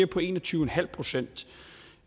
på en og tyve procent